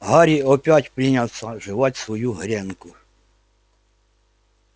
гарри опять принялся жевать свою гренку